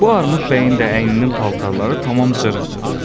Bu Armud bəyin də əyninin paltarları tamam cırıq-cırıq.